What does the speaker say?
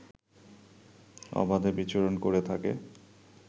অবাধে বিচরণ করে থাকে